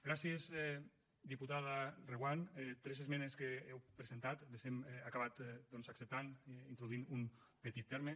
gràcies diputada reguant tres esmenes que heu presentat les hem acabat acceptant introduint un petit terme